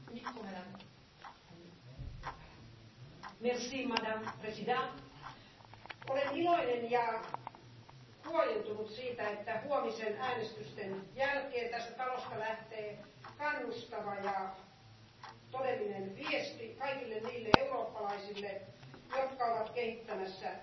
Arvoisa puhemies, olen iloinen ja huojentunut siitä, että huomisen äänestysten jälkeen tästä talosta lähtee kannustava ja todellinen viesti kaikille niille eurooppalaisille, jotka ovat kehittämässä maailman edistyneimpiä